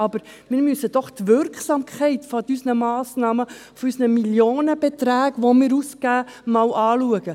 Aber wir müssen doch die Wirksamkeit unserer Massnahmen, von unseren Millionenbeträgen, die wir ausgeben, anschauen.